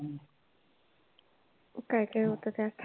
काय काय होतं त्यात?